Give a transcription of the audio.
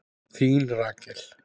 Þín Rakel.